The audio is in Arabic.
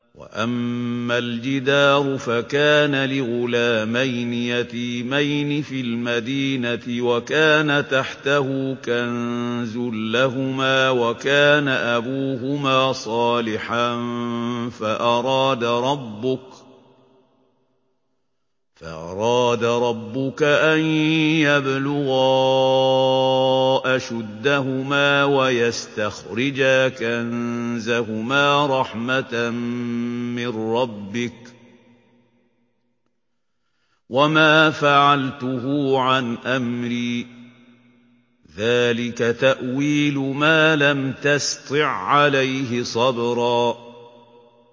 وَأَمَّا الْجِدَارُ فَكَانَ لِغُلَامَيْنِ يَتِيمَيْنِ فِي الْمَدِينَةِ وَكَانَ تَحْتَهُ كَنزٌ لَّهُمَا وَكَانَ أَبُوهُمَا صَالِحًا فَأَرَادَ رَبُّكَ أَن يَبْلُغَا أَشُدَّهُمَا وَيَسْتَخْرِجَا كَنزَهُمَا رَحْمَةً مِّن رَّبِّكَ ۚ وَمَا فَعَلْتُهُ عَنْ أَمْرِي ۚ ذَٰلِكَ تَأْوِيلُ مَا لَمْ تَسْطِع عَّلَيْهِ صَبْرًا